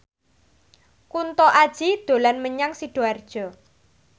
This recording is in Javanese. Kunto Aji dolan menyang Sidoarjo